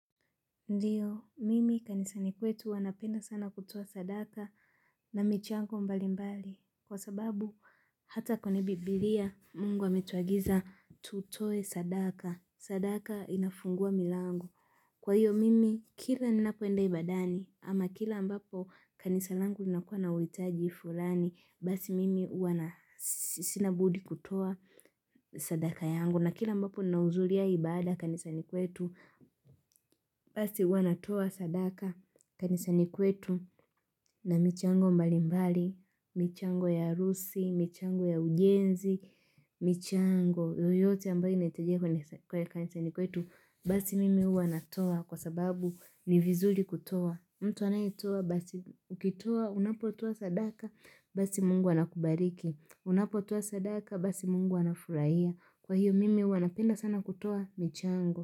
Ndio mimi kanisani kwetu wanapenda sana kutoa sadaka na michango mbali mbali kwa sababu Hata kwenye biblia Mungu ametuagiza tutoe sadaka sadaka inafungua milango. Kwa hiyo mimi, kila ninapoenda ibadani, ama kila ambapo kanisa langu linakuwa na uhitaji fulani, basi mimi na sinabudi kutoa sadaka yangu. Kuna kile ambapo nahudhulia ibada kanisani kwetu, basi wanatoa sadaka kanisani kwetu na michango mbali mbali, michango ya harusi, michango ya ujenzi, michango, yoyote ambayo inahitajika kwenye kanisani kwetu, basi mimi huwa natoa kwa sababu ni vizuri kutoa. Mtu anayetoa basi ukitoa unapotoa sadaka basi Mungu anakubariki Unapotoa sadaka basi Mungu anafurahia Kwa hiyo mimi huwanapenda sana kutoa michango.